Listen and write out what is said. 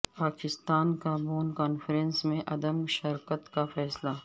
پاکستان کا Bonn conference میں عدم شرکت کا فیصلہ